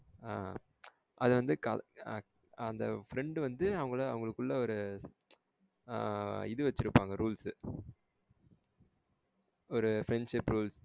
ஆஹ்ன் அது வந்து அந்த friend வந்து அவங்களுக்குள்ள இது வச்சிருபாங்க rules ஒரு friendship rules.